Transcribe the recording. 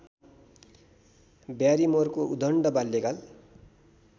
ब्यारिमोरको उद्दण्ड बाल्यकाल